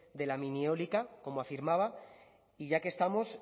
de la minieólica como afirmaba y ya que estamos